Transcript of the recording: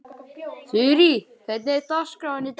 Þurí, hvernig er dagskráin í dag?